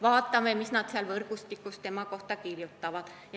Vaatame, mis nad seal võrgustikus tema kohta kirjutavad.